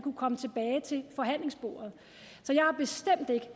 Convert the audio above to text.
kunne komme tilbage til forhandlingsbordet